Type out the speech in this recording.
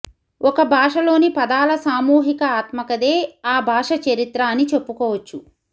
ఒక భాషలోని పదాల సామూహిక ఆత్మకథే ఆ భాషాచరిత్ర అని చెప్పుకోవచ్చు